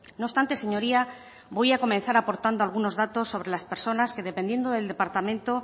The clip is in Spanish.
no obstante señoría voy a comenzar aportando algunos datos sobre las personas que dependiendo del departamento